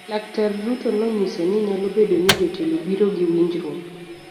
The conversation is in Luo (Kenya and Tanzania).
Laktar Ruto nonyiso ni nyalo bedo ni jotelo biro gi winjruok